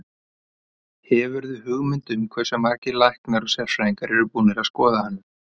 Hefurðu hugmynd um hversu margir læknar og sérfræðingar eru búnir að skoða hana?